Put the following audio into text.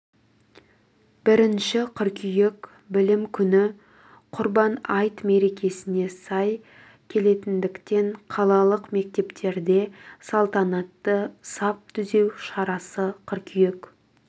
бірінші қыркүйек білім күні құрбан айт мерекесіне сай келетіндіктен қалалық мектептерде салтанатты сап түзеу шарасы қыркүйек